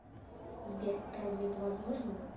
сбер разве это возможно